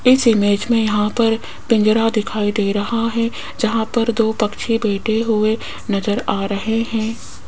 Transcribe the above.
इस इमेज में यहां पर पिंजरा दिखाई दे रहा है जहां पर दो पक्षी बैठे हुए नजर आ रहे हैं।